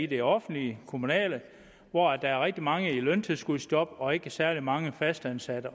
det offentlige det kommunale hvor der er rigtig mange i løntilskudsjob og ikke særlig mange fastansatte